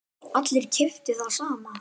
Allir keyptu það sama.